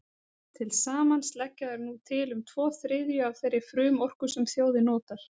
Til samans leggja þær nú til um tvo þriðju af þeirri frumorku sem þjóðin notar.